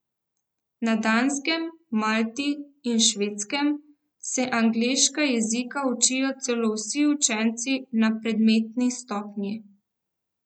Na Danskem, Malti in Švedskem se angleškega jezika učijo celo vsi učenci na predmetni stopnji.